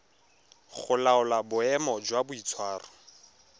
go laola boemo jwa boitshwaro